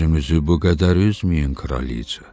Özünüzü bu qədər üzməyin, kraliqa.